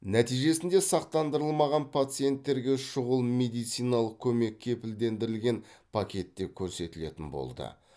нәтижесінде сақтандырылмаған пациенттерге шұғыл медициналық көмек кепілдендірілген пакетте көрсетілетін болды